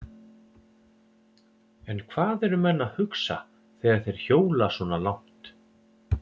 En hvað eru menn að hugsa þegar þeir hjóla svona langt?